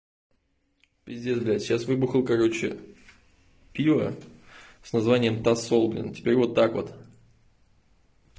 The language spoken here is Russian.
пиздец блядь сейчас выбухал короче пиво с названием тосол блин теперь вот так вот